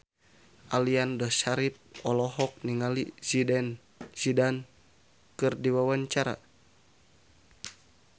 Aliando Syarif olohok ningali Zidane Zidane keur diwawancara